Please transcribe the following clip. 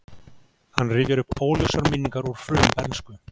Hann rifjar upp óljósar minningar úr frumbernsku.